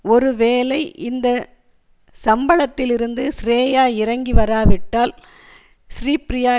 ஒரு வேலை இந்த சம்பளத்திலிருந்து ஸ்ரேயா இறங்கி வராவிட்டால் ஸ்ரீப்ரியா